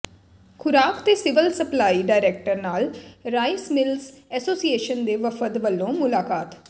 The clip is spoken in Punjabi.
ਖੁਰਾਕ ਤੇ ਸਿਵਲ ਸਪਲਾਈ ਡਾਇਰੈਕਟਰ ਨਾਲ ਰਾਈਸ ਮਿਲਰਜ਼ ਐਸੋਸੀਏਸ਼ਨ ਦੇ ਵਫਦ ਵੱਲੋਂ ਮੁਲਾਕਾਤ